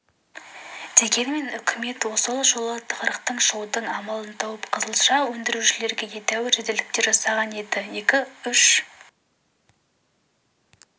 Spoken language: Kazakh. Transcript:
дегенмен үкімет сол жолы бұл тығырықтан шығудың амалын тауып қызылша өндірушілерге едәуір жеңілдіктер жасаған еді екі-үш